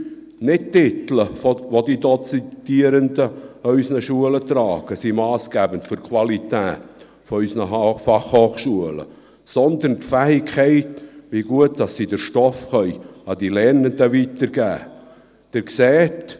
Nicht die Titel, welche die Dozierenden an den Schulen tragen, sind massgebend für die Qualität unserer Fachhochschulen, sondern die Fähigkeit, wie gut diese den Stoff an die Lernenden weitergeben können.